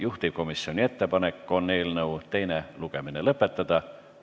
Juhtivkomisjoni ettepanek on eelnõu teine lugemine lõpetada.